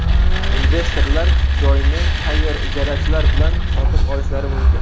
Investorlar joyni tayyor ijarachilar bilan sotib olishlari mumkin.